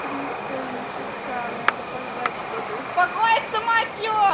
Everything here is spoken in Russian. три с половиной часа мне надо пожрать что-то и успокоиться мать его